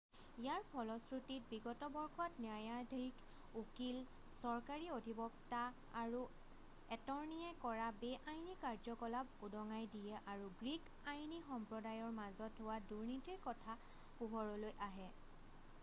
ইয়াৰ ফলশ্ৰুতিত বিগত বৰ্ষত ন্যায়াধীশ উকীল চৰকাৰী অধিবক্তা আৰু এটৰ্ণীয়ে কৰা বেআইনী কাৰ্যকলাপ উদঙাই দিয়ে আৰু গ্ৰীক আইনী সম্প্ৰদায়ৰ মাজত হোৱা দুৰ্নীতিৰ কথা পোহৰলৈ আহে